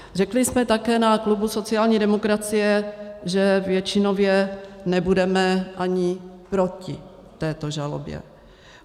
Řekli jsme také na klubu sociální demokracie, že většinově nebudeme ani proti této žalobě.